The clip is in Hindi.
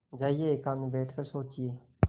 जाइए एकांत में बैठ कर सोचिए